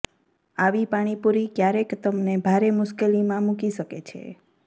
આવી પાણીપુરી ક્યારેક તમને ભારે મુશ્કેલીમાં મૂકી શકે છે